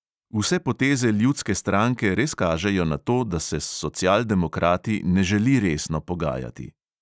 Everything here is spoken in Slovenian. Vse poteze ljudske stranke res kažejo na to, da se s socialdemokrati ne želi resno pogajati.